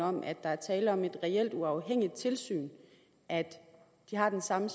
om at der er tale om et reelt uafhængigt tilsyn at de har den samme